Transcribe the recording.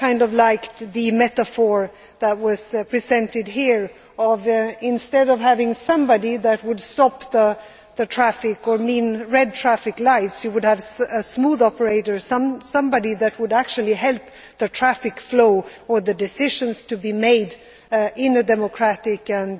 I liked the metaphor that was presented here that instead of having somebody who would stop the traffic, or mean red traffic lights, you would have a smooth operator, somebody that would actually help the traffic flow or decisions to be made in a democratic and